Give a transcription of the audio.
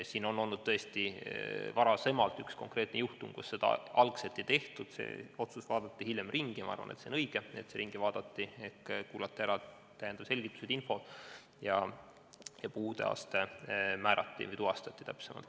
Siin oli varasemalt tõesti üks konkreetne juhtum, kus seda algselt ei tehtud, aga see otsus vaadati hiljem üle – ja ma arvan, et see on õige, et see vaadati üle – ehk kuulati ära täiendavad selgitused ja puudeaste tuvastati.